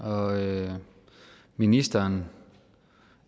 og ministeren